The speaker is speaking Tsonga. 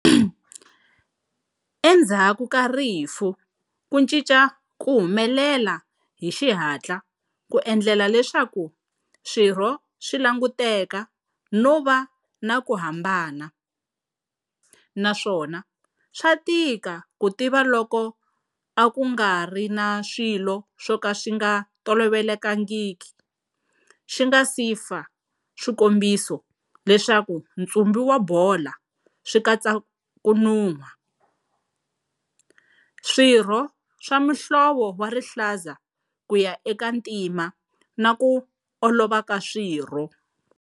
Endzhaku ka rifu ku cinca ku humelela hi xihatla ku endlela leswaku swirho swi languteka no va na ku hambana, naswona swa tika ku tiva loko a ku nga ri na swilo swo ka swi nga tolovelekangi xi nga si fa swikombiso leswaku ntsumbu wa bola swi katsa ku nuha, swirho swa muhlovo wa rihlaza ku ya eka ntima na ku olova ku swirho.